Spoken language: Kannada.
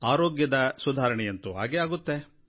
ಆರೋಗ್ಯದ ಸುಧಾರಣೆಯಂತೂ ಆಗೇ ಆಗುತ್ತೆ